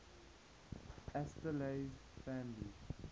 asterales families